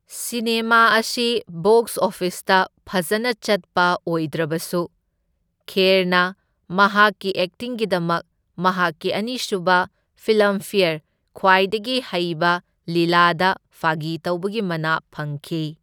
Cinema ꯑꯁꯤ box ꯑꯣꯐꯤꯁꯇ ꯐꯖꯅ ꯆꯠꯄ ꯑꯣꯏꯗ꯭ꯔꯕꯁꯨ, ꯈꯦꯔꯅ ꯃꯍꯥꯛꯀꯤ ꯑꯦꯛꯇꯤꯡꯒꯤꯗꯃꯛ ꯃꯍꯥꯛꯀꯤ ꯑꯅꯤꯁꯨꯕ ꯐꯤꯜꯃꯐꯦꯌꯔ ꯈ꯭ꯋꯥꯢꯗꯒꯤ ꯍꯩꯕ ꯂꯤꯂꯥꯗ ꯐꯥꯒꯤꯇꯧꯕꯒꯤ ꯃꯅꯥ ꯐꯪꯈꯤ꯫